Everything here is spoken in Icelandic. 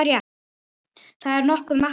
Það er nokkuð magnað.